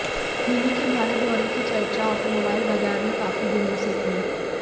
mini के भारत दौरे की चर्चा ऑटोमोबाइल बाजार में काफी दिनों से थी